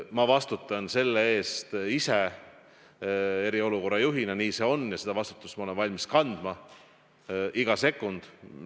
Ma vastutan selle eest ise eriolukorra juhina, nii see on, ja seda vastutust ma olen valmis kandma iga sekund.